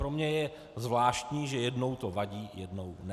Pro mě je zvláštní, že jednou to vadí, jednou ne.